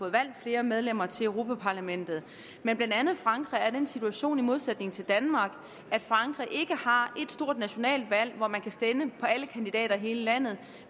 valgt flere medlemmer til europa parlamentet men blandt andet frankrig er i den situation i modsætning til danmark ikke har ét stort nationalt valg hvor man kan stemme på alle kandidater i hele landet